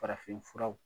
Farafin furaw